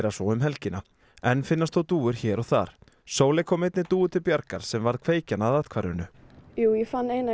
svo um helgina enn finnast þó dúfur hér og þar Sóley kom einni dúfu til bjargar sem varð kveikjan að athvarfinu ég fann eina